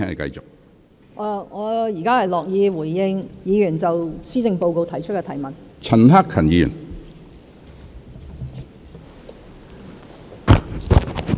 我現在樂意回應議員就施政報告作出的提問。